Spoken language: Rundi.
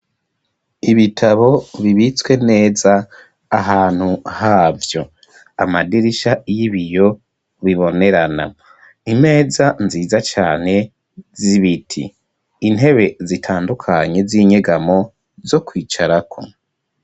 Ibitabo bibitswe neza ahantu havyo, amadirisha y'ibiyo bibonerana, imeza nziza cane z'ibiti, intebe zitandukanye z'inyegamo zo kwicarako.